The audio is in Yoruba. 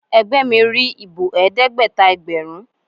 Ẹgbẹ́ mi rí ìbò Ẹ̀ẹ́dẹ́gbẹ̀ta ẹgbẹ̀rún.